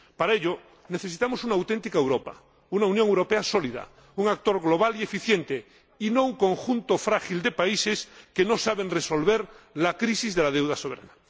Para ello necesitamos una auténtica Europa, una Unión Europea sólida, un actor global y eficiente, y no un conjunto frágil de países que no saben resolver la crisis de la deuda soberana.